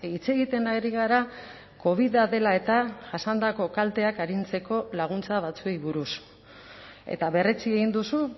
hitz egiten ari gara covida dela eta jasandako kalteak arintzeko laguntza batzuei buruz eta berretsi egin duzu